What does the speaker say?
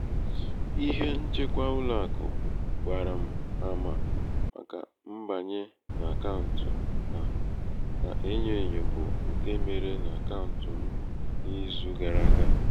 ihe nchekwa ụlọàkụ̀ gbààrà m àmà màkà mbànye n’àkaụ̀ǹtụ̀ a nà-enyo ènyo bụ ṅke mere n’àkaụ̀ǹtụ̀ m n’izu gara àga.